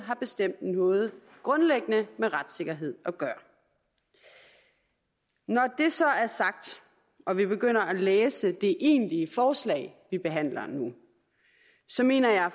har bestemt noget grundlæggende med retssikkerhed at gøre når det så er sagt og vi begynder at læse det egentlige forslag vi behandler nu så mener jeg